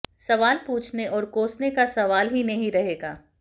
सवाल पूछने और कोसने का सवाल ही नहीं रहेगा